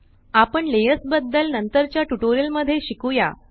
आपण लेयर्स बदद्ल नंतरच्या ट्यूटोरियल मध्ये शिकुया